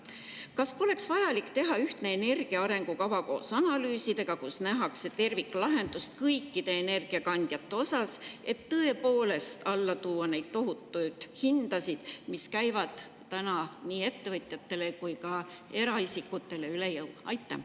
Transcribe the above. Kas poleks vaja teha koos analüüsidega ühtne energia arengukava, kus nähakse terviklahendust kõikide energiakandjate osas, et tõepoolest alla tuua neid tohutuid hindasid, mis käivad nii ettevõtjatele kui ka eraisikutele üle jõu?